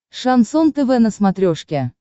шансон тв на смотрешке